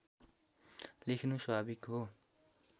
लेखिनु स्वाभाविक हो